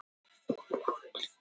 Hún var áberandi glettin.